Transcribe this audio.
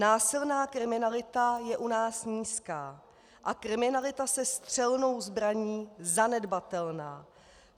Násilná kriminalita je u nás nízká a kriminalita se střelnou zbraní zanedbatelná.